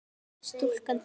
Stúlkan deyr.